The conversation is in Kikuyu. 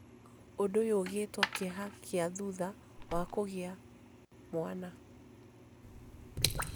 ũndũ ũyũ ũgĩĩtwo kĩeha kĩa thutha wa kũgĩa mwana.